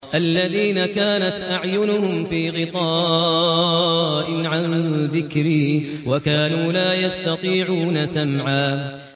الَّذِينَ كَانَتْ أَعْيُنُهُمْ فِي غِطَاءٍ عَن ذِكْرِي وَكَانُوا لَا يَسْتَطِيعُونَ سَمْعًا